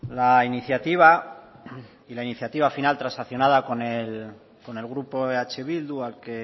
la iniciativa y la iniciativa final transaccionada con el grupo eh bildu al que